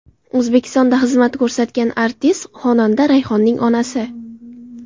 O‘zbekistonda xizmat ko‘rsatgan artist, xonanda Rayhonning onasi.